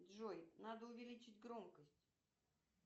джой надо увеличить громкость